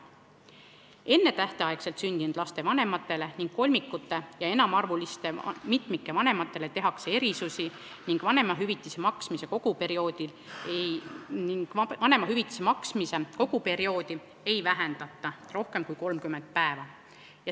Ennetähtaegselt sündinud laste vanematele ning kolmikute ja enamaarvuliste mitmike vanematele tehakse erandeid ning vanemahüvitise maksmise koguperioodi ei vähendata rohkem kui 30 päeva.